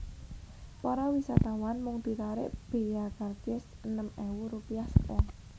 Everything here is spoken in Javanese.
Para wisatawan mung ditarik bea karcis enem ewu rupiah sak wong